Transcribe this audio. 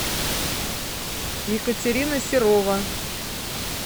екатерина серова